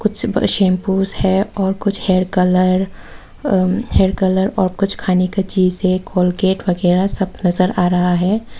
Shampoo है और कुछ hair colour uh hair colour और कुछ खाने का चीज है कोलगेट वगैरा सब नजर आ रहा है।